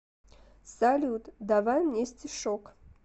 салют давай мне стишок